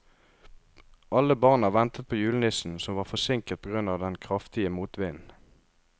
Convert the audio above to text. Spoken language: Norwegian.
Alle barna ventet på julenissen, som var forsinket på grunn av den kraftige motvinden.